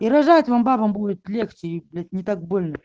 и рожать вам бабам будет легче и блять не так больно